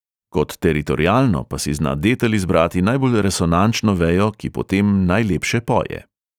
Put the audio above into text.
Kot teritorialno pa si zna detel izbrati najbolj resonančno vejo, ki potem najlepše poje.